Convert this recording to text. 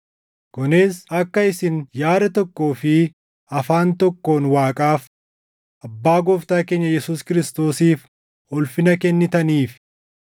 Kunis akka isin yaada tokkoo fi afaan tokkoon Waaqaaf, Abbaa Gooftaa keenya Yesuus Kiristoosiif ulfina kennitaniif.